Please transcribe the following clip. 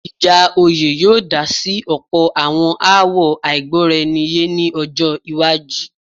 ìjà oyè yóò dá sí ọ̀pọ̀ àwọn aáwọ̀ àìgbọ́raẹniyé ní ọjọ́-iwájú.